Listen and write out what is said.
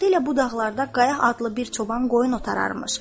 Vaxtilə bu dağlarda Qaya adlı bir çoban qoyun otarırmış.